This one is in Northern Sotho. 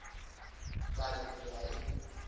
ka re ke a e